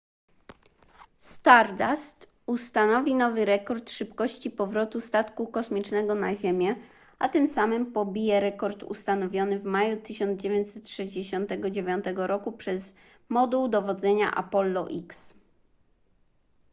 stardust ustanowi nowy rekord szybkości powrotu statku kosmicznego na ziemię a tym samym pobije rekord ustanowiony w maju 1969 roku przez moduł dowodzenia apollo x